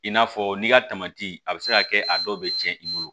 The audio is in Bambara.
I n'a fɔ n'i ka a bɛ se ka kɛ a dɔw bɛ tiɲɛ i bolo